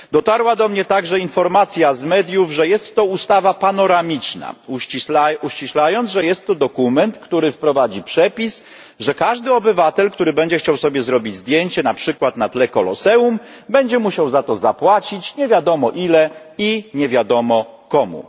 Dotarła do mnie także informacja z mediów, że jest to ustawa panoramiczna, uściślając, że jest to dokument, który wprowadzi przepis, że każdy obywatel, który będzie chciał sobie zrobić zdjęcie na przykład na tle Koloseum, będzie musiał za to zapłacić nie wiadomo ile i nie wiadomo komu.